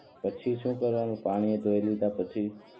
પછી શું કરવાનું પાણી એ ધોઈ લીધા પછી